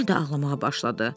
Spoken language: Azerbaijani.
Yenə də ağlamağa başladı.